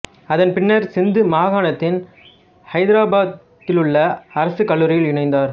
அதன் பின்னர் சிந்து மாகாணத்தின் ஹைதிராபாத்திலுள்ள அரசு கல்லூரியில் இணைந்தார்